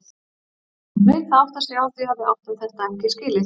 Hann hlaut að átta sig á því að við áttum þetta ekki skilið.